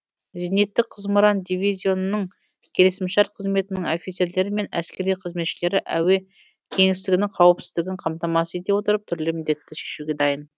зениттік зымыран дивизионының келісімшарт қызметінің офицерлері мен әскери қызметшілері әуе кеңістігінің қауіпсіздігін қамтамасыз ете отырып түрлі міндетті шешуге дайын